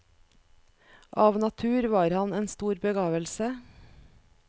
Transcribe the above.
Av natur var han en stor begavelse.